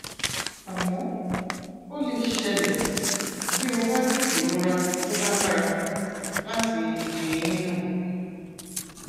àmọ ó lè ṣẹlẹ bí o bá ní ìrora tó lágbára láti ibi eyín náà